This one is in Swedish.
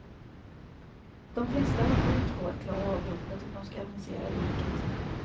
De flesta har fullt sjå att klara av jobbet om de ska avancera i yrket.